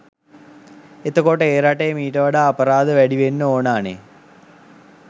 එතකොට ඒ රටේ මීට වඩා අපරාධ වැඩි වෙන්න ඕනා නේ